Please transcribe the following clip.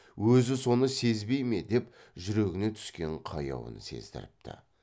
өзі соны сезбей ме деп жүрегіне түскен қаяуын сездіріпті